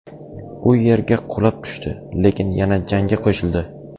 U yerga qulab tushdi, lekin yana jangga qo‘shildi.